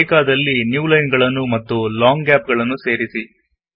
ಬೇಕಾದಲ್ಲಿ new line ಗಳನ್ನು ಮತ್ತು ಲಾಂಗ್ ಗ್ಯಾಪ್ ಗಳನ್ನು ಸೇರಿಸಿ